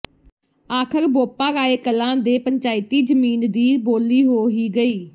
ਆਖਰ ਬੋਪਾਰਾਏ ਕਲਾਂ ਦੇ ਪੰਚਾਇਤੀ ਜਮੀਨ ਦੀ ਬੋਲੀ ਹੋ ਹੀ ਗਈ